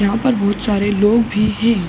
यहाँ पर बोहोत सारे लोग भी हैं।